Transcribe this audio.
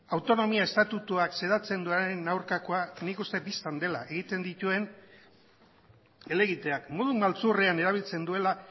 autonomia estatutuak xedatzen duenaren aurkakoa nik uste bistan dela egiten dituen helegiteak modu maltzurrean erabiltzen duela